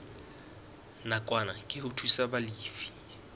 nakwana ke ho thusa balefi